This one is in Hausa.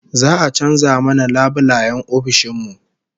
Za'a canza mana labulayen ofishin mu